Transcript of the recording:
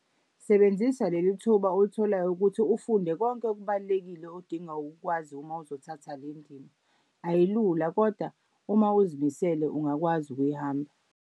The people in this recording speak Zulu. Sebenzisa leli thuba olitholayo ukuthi ufunde konke okubalulekile odinga ukukwazi uma uzothatha le ndima. Ayilula kodwa uma uzimisele ungakwazi ukuyihamba.